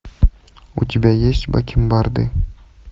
у тебя есть бакенбарды